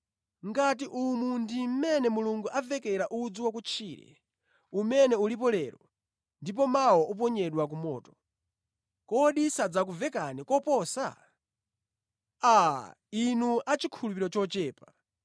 Ngati umu ndi mmene Mulungu avekera udzu wa kutchire umene ulipo lero ndipo mawa uponyedwa ku moto, kodi sadzakuvekani koposa? Aa! Inu a chikhulupiriro chochepa!